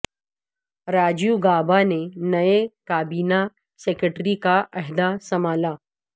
راجیو گابا نے نئے کابینہ سیکرٹری کا عہدہ سنبھالا